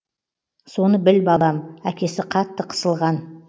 соны біл балам әкесі қатты қысылған